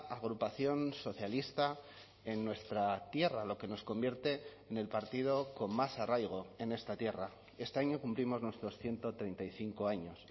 agrupación socialista en nuestra tierra lo que nos convierte en el partido con más arraigo en esta tierra este año cumplimos nuestros ciento treinta y cinco años